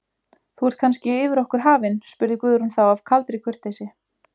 Þú ert kannski yfir okkur hafin, spurði Guðrún þá af kaldri kurteisi.